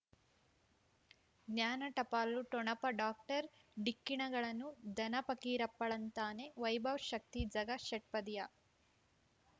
ಜ್ಞಾನ ಟಪಾಲು ಠೊಣಪ ಡಾಕ್ಟರ್ ಢಿಕ್ಕಿ ಣಗಳನು ಧನ ಪಕೀರಪ್ಪ ಳಂತಾನೆ ವೈಭವ್ ಶಕ್ತಿ ಝಗಾ ಷಟ್ಪದಿಯ